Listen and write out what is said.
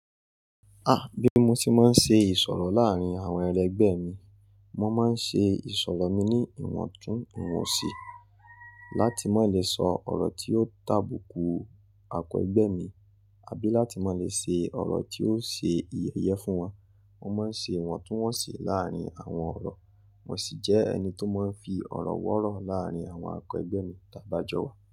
Ah! Bí mo tí máa ń ṣe ìsọ̀rọ̀ láàárín àwọn elegbẹ mi, mo máa ń ṣe ìsọ̀rọ̀ mi ní ìwọ̀ntún ìwọ̀nsì láti má lè sọ ọ̀rọ̀ tí yóò tàbùkù ake ẹgbẹ́ mi, àbí láti má lè ṣe ọ̀rọ̀ tí yóò ṣe yẹyẹ fún wọn. Mo máa ń ṣe ìwọ̀ntúnwọ̀nsì láàárín àwọn ọ̀rọ̀. Mo sì jẹ́ ẹni tó máa ń fi ọ̀rọ̀ wọ̀rọ̀ láàárín àwọn àkẹ ẹgbẹ́ mi t'á bá jọ wà.